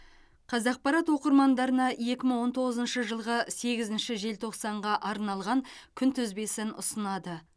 қазақпарат оқырмандарына екі мың он тоғызыншы жылғы сегізінші желтоқсанға арналған күнтізбесін ұсынады